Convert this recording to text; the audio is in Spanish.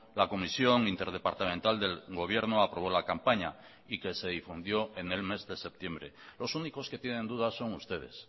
la comisión interdepartamental del gobierno aprobó la campaña y que se difundió en el mes de septiembre los únicos que tienen dudas son ustedes